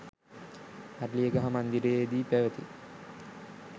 අරලියගහ මන්දිරයේදී පැවති